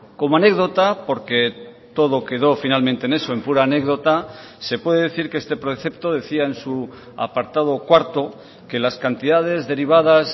como anécdota porque todo quedó finalmente en eso en pura anécdota se puede decir que este precepto decía en su apartado cuarto que las cantidades derivadas